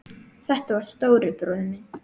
Þetta var stóri bróðir minn.